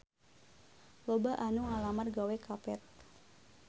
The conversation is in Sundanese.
Loba anu ngalamar gawe ka Path